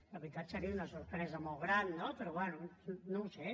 la veritat seria una sorpresa molt gran no però bé no ho sé